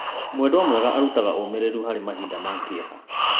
Mwendwa mwega arutaga ũũmĩrĩru harĩ mahinda ma kĩeha.